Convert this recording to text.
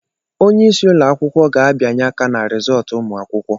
Onyeisi ụlọ akwụkwọ ga-abianye aka ná rizọtụ ụmụ akwụkwọ.